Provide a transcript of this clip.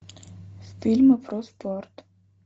фильмы про спорт